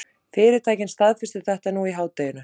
Fyrirtækin staðfestu þetta nú í hádeginu